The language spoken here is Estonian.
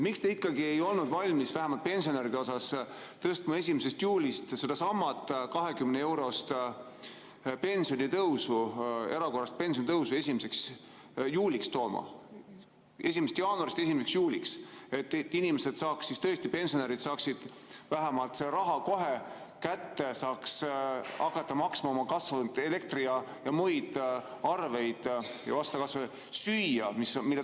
Miks te ikkagi ei olnud valmis vähemalt pensionäridele tegema 1. juulist sedasama 20-eurost pensionitõusu, erakorralist pensionitõusu tooma 1. jaanuarist 1. juuliks, et tõesti pensionärid saaksid vähemalt selle raha kohe kätte, saaksid hakata maksma oma kasvanud elektri‑ ja muid arveid ning osta kas või süüa?